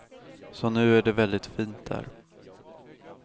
Så nu är det väldigt fint där.